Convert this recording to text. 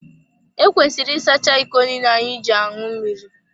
Ekwesịrị ịsacha iko niile anyị ji aṅụ mmiri.